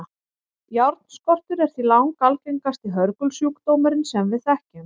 járnskortur er því langalgengasti hörgulsjúkdómurinn sem við þekkjum